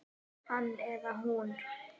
Hann eða hún